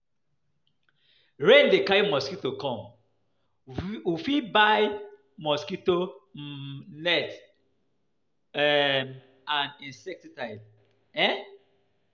Rain dey carry mosquitoes come, we fit buy mosquito um nets [um]and insecticide um